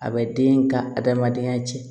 A bɛ den ka adamadenya cɛn